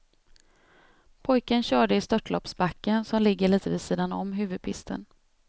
Pojken körde i störtloppsbacken som ligger lite vid sidan om huvudpisten.